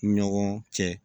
Ɲɔgɔn cɛ